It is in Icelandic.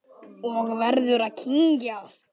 Og verður að kyngja.